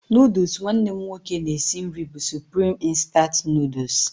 Nụdụls nwanne m nwoke na-esi nri bụ Supreme instant Nụdụls.